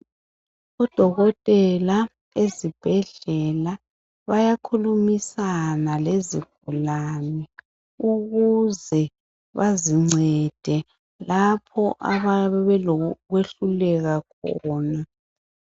Odokotela ezibhedlela bayakhulumisana lezigulane ukuze bazincede lapho abayabe belokwehluleka khona